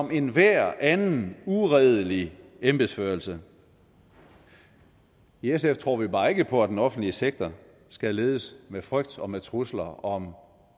ved enhver anden uredelig embedsførelse i sf tror vi bare ikke på at den offentlige sektor skal ledes med frygt og med trusler om